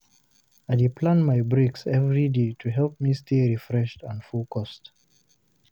I dey plan my breaks every day to help me stay refreshed and focused.